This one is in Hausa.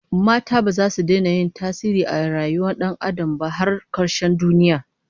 Mata baza su daina yin tasiri a rayuwar Dan Adam ba har karshen duniya